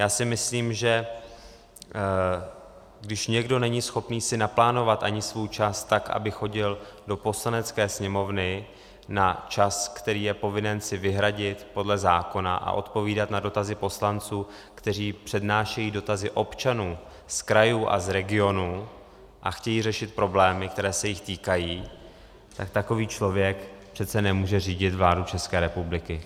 Já si myslím, že když někdo není schopen si naplánovat ani svůj čas tak, aby chodil do Poslanecké sněmovny na čas, který je povinen si vyhradit podle zákona, a odpovídat na dotazy poslanců, kteří přednášejí dotazy občanů z krajů a z regionů a chtějí řešit problémy, které se jich týkají, tak takový člověk přece nemůže řídit vládu České republiky.